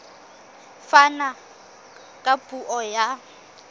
a fana ka puo ya